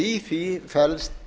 í því felst